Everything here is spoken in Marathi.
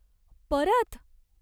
परत?